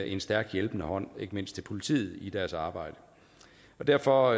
en stærk hjælpende hånd ikke mindst til politiet i deres arbejde derfor